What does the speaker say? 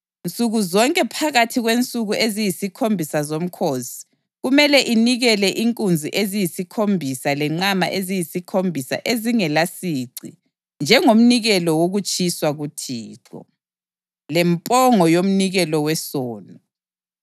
Nsuku zonke phakathi kwensuku eziyisikhombisa zomkhosi kumele inikele inkunzi eziyisikhombisa lenqama eziyisikhombisa ezingelasici njengomnikelo wokutshiswa kuThixo, lempongo yomnikelo wesono.